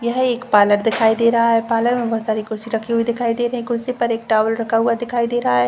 यह एक पार्लर दिखाई दे रहा है। पार्लर में बोहोत सारी कुर्सी रखी हुई दिखाई दे रही हैं। कुर्सी के ऊपर टॉवल